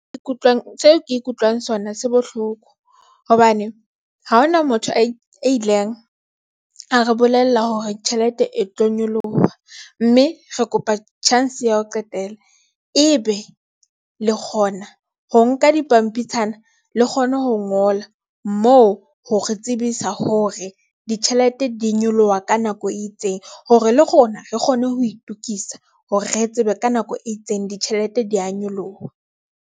Se ke ikutlwang sona se bohloko hobane ha hona motho a ileng a re bolella hore tjhelete e tlo nyoloha, mme re kopa chance ya ho qetela e be le kgona ho nka dipampitshana le kgone ho ngola moo hore tsebisa hore ditjhelete di nyoloha ka nako e itseng hore le rona re kgone ho itokisa hore re tsebe ka nako e itseng ditjhelete di ya nyoloha.